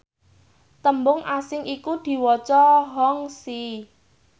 tembung asing iku diwaca hongxi